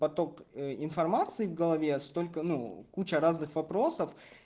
поток информации в голове столько ну куча разных вопросов